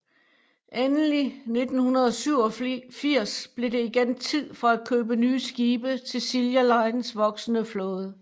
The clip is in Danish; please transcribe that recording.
Endelig 1987 blev det igen tid for at købe nye skibe til Silja Lines voksende flåde